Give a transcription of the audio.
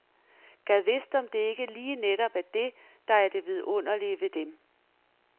Gad vidst om det ikke lige netop er det, der er det vidunderlige ved dem.